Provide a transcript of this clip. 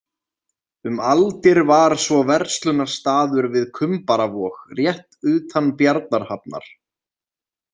Um aldir var svo verslunarstaður við Kumbaravog, rétt utan Bjarnarhafnar.